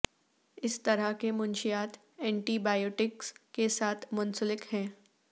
اس طرح کے منشیات اینٹی بائیوٹکس کے ساتھ منسلک ہیں